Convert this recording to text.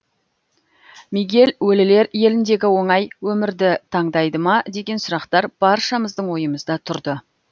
мигель өлілер еліндегі оңай өмірді таңдайды ма деген сұрақтар баршамыздың ойымызда тұрды